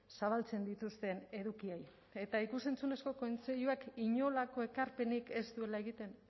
zabaltzen dituzten edukiei eta ikus entzunezko kontseiluak inolako ekarpenik ez duela egiten